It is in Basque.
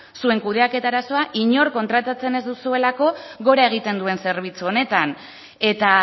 zuen kudeaketa arazoa inor kontratatzen ez duzuelako gora egiten duen zerbitzu honetan eta